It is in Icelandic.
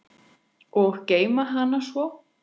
Og geyma hana svo.